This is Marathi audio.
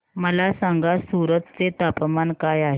मला सांगा सूरत चे तापमान काय आहे